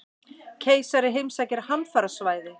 Keisari heimsækir hamfarasvæði